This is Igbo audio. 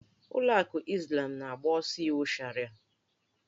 Ụlọ akụ Izlam na-agbaso iwu Sharịa.